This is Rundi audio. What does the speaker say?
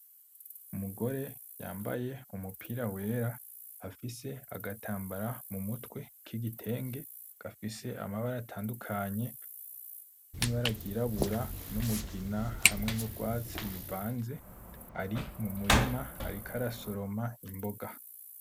Umugore yambaye umupira wera afise agatambara mumutwe kigitenge gafise amabara atandukanye, nibara ryirabura, n'umugina hamwe nurwatsi bivanze ari mumurima ariko arasoroma imboga.